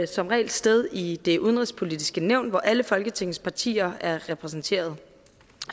som regel sted i det udenrigspolitiske nævn hvor alle folketingets partier er repræsenteret